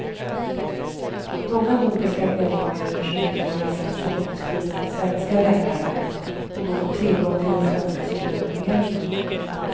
Många nordiska medborgare försöker få recepten utskrivna av svenska läkare, och då få tillgång till den svenska subventioneringen.